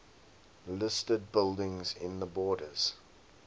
listed buildings in the borders